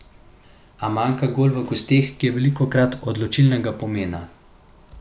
A manjka gol v gosteh, ki je velikokrat odločilnega pomena.